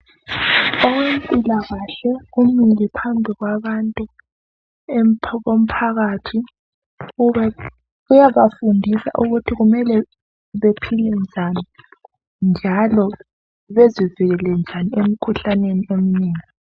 owempilakahle umile phambili kwabantu komphakathi uyabafundisa ukuthi kumele bephile njani njalo bezivikele njani emkhuhlaneni eminengi